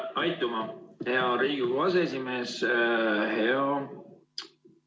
Aitüma, hea Riigikogu aseesimees!